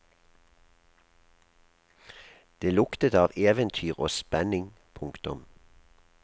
Det luktet av eventyr og spenning. punktum